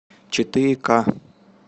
четыре ка